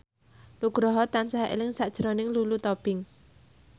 Nugroho tansah eling sakjroning Lulu Tobing